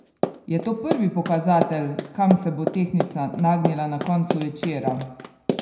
Je to prvi pokazatelj, kam se bo tehtnica nagnila na koncu večera?